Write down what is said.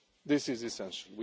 This is essential.